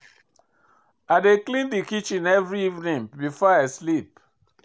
I dey clean di kitchen every evening before I sleep.